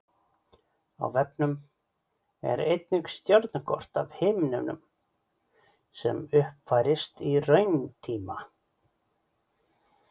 Á vefnum er einnig stjörnukort af himninum sem uppfærist í rauntíma.